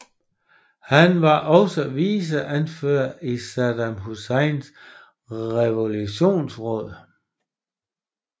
Han var også viceordfører i Saddam Husseins Revolutionsråd